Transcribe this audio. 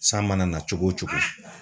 San mana na cogo o cogo